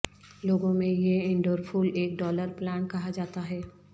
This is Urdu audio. لوگوں میں یہ انڈور پھول ایک ڈالر پلانٹ کہا جاتا ہے